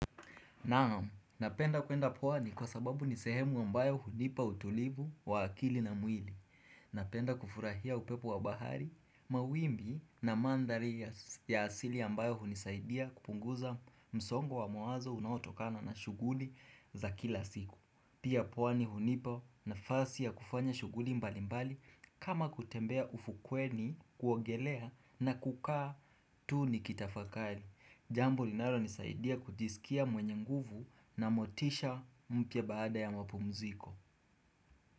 Naam, napenda kuenda pwani kwa sababu ni sehemu ambayo hunipa utulivu wa akili na mwili. Napenda kufurahia upepo wa bahari, mawimbi na mandhari ya asili ambayo hunisaidia kupunguza msongo wa mawazo unautokana na shuguli za kila siku. Pia pwani hunipa nafasi ya kufanya shuguli mbali mbali kama kutembea ufukweni kuogelea na kukaa tu nikitafakari. Jambo linalonisaidia kujisikia mwenye nguvu na motisha mpya baada ya mapumziko.